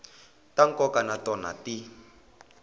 ta nkoka na tona ti